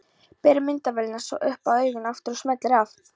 Ber myndavélina svo upp að auganu aftur og smellir af.